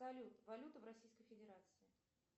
салют валюта в российской федерации